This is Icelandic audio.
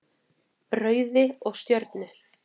Rauði og Stjörnu.